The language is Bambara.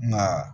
Nka